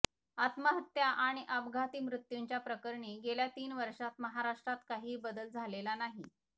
आत्महत्या आणि अपघाती मृत्यूंच्या प्रकरणी गेल्या तीन वर्षात महाराष्ट्रात काहीही बदल झालेला नाही